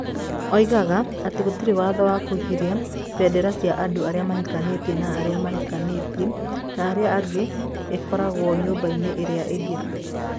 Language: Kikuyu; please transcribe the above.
Oigaga atĩ gũtirĩ watho wa kũgiria bendera cia andũ arĩa mahikanĩtie na arĩa mahikanĩtie na arĩa angĩ ikoragwo nyũmba-inĩ iria ingĩ.